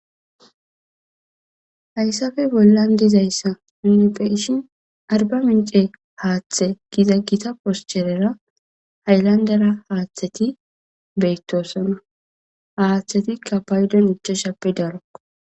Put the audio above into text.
hayssafe bollan dizayssa unipheishin arba mince haaththe giza gita poscherera hayllandera haaththeti beettosona haaththetikka paydon ichashappe daro.